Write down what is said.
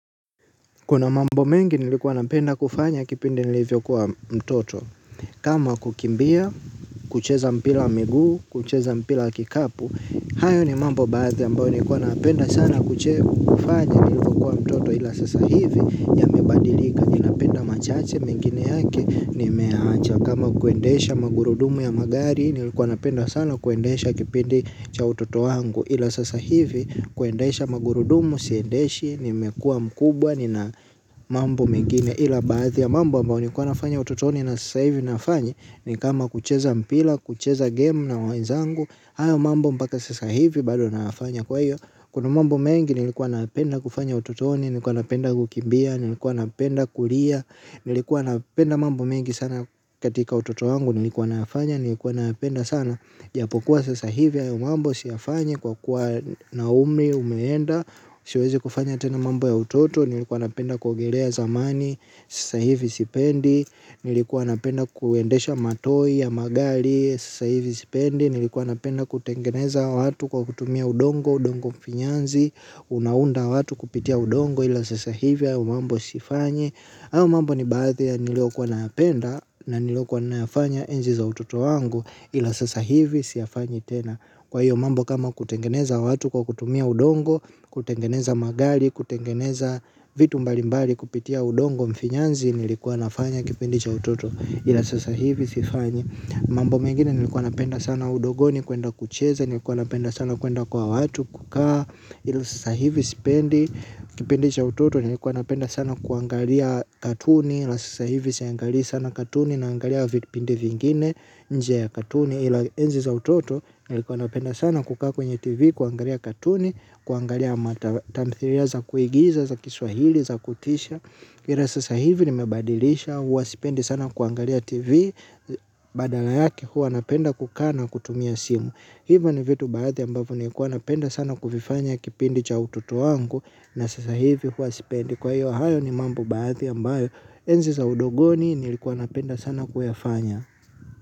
Kuna mambo mengi nilikuwa napenda kufanya kipindi nilivyokuwa mtoto. Kama kukimbia, kucheza mpira miguu, kucheza mpira wa kikapu. Hayo ni mambo baadhi ambayo nilikuwa napenda sana kufanya nilivyokuwa mtoto. Ila sasa hivi yamebadilika ninapenda machache mengine yake nimeyaacha. Kama kuendesha magurudumu ya magari nilikuwa napenda sana kuendesha kipindi cha utoto wangu. Ila sasa hivi kuendesha magurudumu siendeshi nimekuwa mkubwa ni na mambo mengine. Ila baadhi ya mambo ambayo nilikuwa nafanya utotoni. Na sasa hivi nafanya ni kama kucheza mpira. Kucheza gemu na wenzangu. Hayo mambo mpaka sasa hivi bado nafanya kwa iyo. Kuna mambo mengi nilikuwa nayapenda kufanya ototoni. Nilikuwa napenda kukimbia. Nilikuwa napenda kulia. Nilikuwa napenda mambo mengi sana katika utoto wangu. Nilikuwa nayafanya nilikuwa nayapenda sana. Japo kuwa sasa hivi hayo mambo siyafanyi kwa kuwa na umri umeenda. Siwezi kufanya tena mambo ya utoto nilikuwa napenda kuogelea zamani. Sasa hivi sipendi nilikuwa napenda kuendesha matoi ya magari. Sasa hivi sipendi nilikuwa napenda kutengeneza watu kwa kutumia udongo. Udongo mfinyanzi unaunda watu kupitia udongo ila sasa hivi hayo mambo sifanyi. Hayo mambo ni baadhi ya niliyokuwa nayapenda na niliyokuwa nayafanya enzi za utoto wangu ila sasa hivi siyafanyi tena. Kwa hiyo mambo kama kutengeneza watu kwa kutumia udongo, kutengeneza magari, kutengeneza vitu mbali mbali kupitia udongo mfinyanzi nilikuwa nafanya kipindi cha utoto ila sasa hivi sifanyi. Mambo mengine nilikuwa napenda sana udogoni kuenda kucheza, nilikuwa napenda sana kuenda kwa watu kukaa ila sasa hivi sipendi, kipindi cha utoto nilikuwa napenda sana kuangalia katuni ila sasa hivi siangali sana katuni naangalia vipindi vingine nje ya katuni ila enzi za utoto nilikuwa napenda sana kukaa kwenye tv kuangalia katuni kuangalia ma tamthilia za kuigiza za kiswahili za kutisha ila sasa hivi nimebadilisha huwa sipendi sana kuangalia tv badala yake huwa napenda kukaa na kutumia simu. Hivyo ni vitu baadhi ambavyo niikuwa napenda sana kuvifanya kipindi cha utoto wangu na sasa hivi huwa sipendi. Kwa hiyo hayo ni mambo baadhi ambayo enzi za udogoni nilikuwa napenda sana kuyafanya.